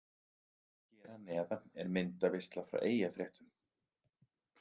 Hér að neðan er myndaveisla frá Eyjafréttum.